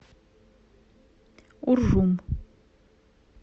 уржум